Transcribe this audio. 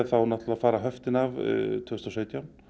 fara höftin af árið tvö þúsund og sautján